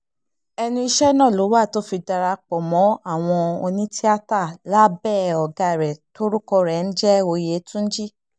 ẹnu iṣẹ́ náà ló wà tó fi darapọ̀ mọ́ àwọn onítìata lábẹ́ ọ̀gá rẹ̀ tórúkọ rẹ̀ ń jẹ́ òyétúńjì